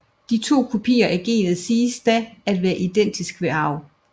De to kopier af genet siges da at være identiske ved arv